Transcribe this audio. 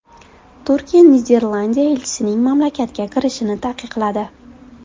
Turkiya Niderlandiya elchisining mamlakatga kirishini taqiqladi .